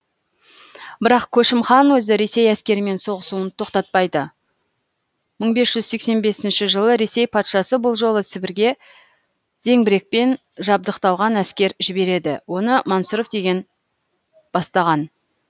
бірақ көшім хан өзі ресей әскерімен соғысуын тоқтатпайды мың бес жүз сексен бесінші жылы ресей патшасы бұл жолы сібірге зеңбірекпен жабдықталған әскер жібереді оны мансұров деген бастаған